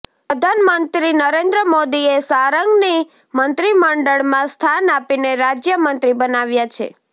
પ્રધાનમંત્રી નરેંદ્ર મોદીએ સારંગની મંત્રીમંડળમાં સ્થાન આપીને રાજ્યમંત્રી બનાવ્યા છે